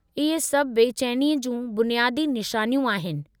इहे सभु बेचैनीअ जूं बुनियादी निशानियूं आहिनि।